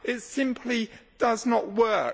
It simply does not work.